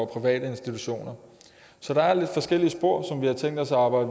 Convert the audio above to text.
private institutioner så der er forskellige spor vi har tænkt os at